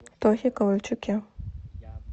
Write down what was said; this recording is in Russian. тохе ковальчуке